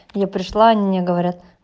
я пришла они не говори